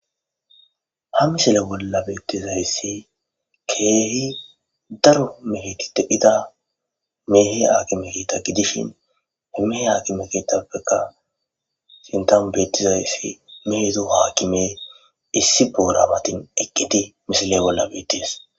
Ha misile bolla beettizayssi keehi daro mehiti te hida meehe akime kita gidishin hemehe hakime kitappeka sintanu beettizayssi mehedo haakime issi boorabatin eqqidi misile bolla beettis.